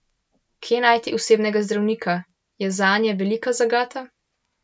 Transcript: Kje najti osebnega zdravnika, je zanje velika zagata.